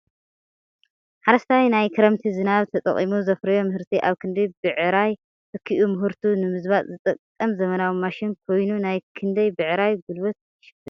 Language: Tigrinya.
ሓረስታ ናይ ክርምቲ ዝናብ ተጠቂሙ ዘፍረዮ ምህርቲ ኣብ ክንዲ ብዕራይ ተኪኡ ምህርቱ ንምዝባጥ ዝጠቅም ዘመናዊ ማሽን ኮይኑ ናይ ክንደይ ብዕራይ ጉልበት ይሽፍን ?